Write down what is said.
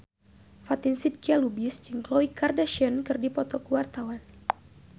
Fatin Shidqia Lubis jeung Khloe Kardashian keur dipoto ku wartawan